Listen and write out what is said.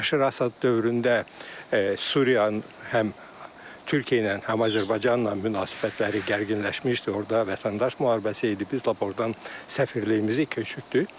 Bəşər Əsəd dövründə Suriyanın həm Türkiyə ilə, həm Azərbaycanla münasibətləri gərginləşmişdi, orda vətəndaş müharibəsi idi, biz lap ordan səfirliyimizi köçürtdük.